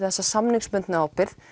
þessa samningsbundnu ábyrgð